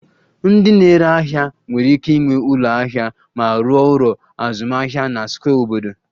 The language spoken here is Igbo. Ndị na-ere ahịa nwere ike ịnwe ụlọ ahịa ma rụọ ọrụ azụmahịa na square obodo